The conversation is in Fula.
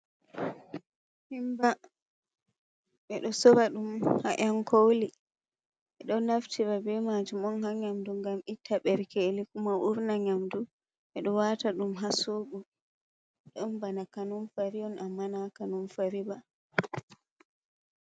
Kimba ɓeɗo sorra ɗum on ha yankoli ɓeɗo nafti be majum on ha nyamdu ngam itta berkeli kumo urna nyamdu, ɓeɗo wata dum ha zobo ɗon bana kanum fari amma na kanum fari onba.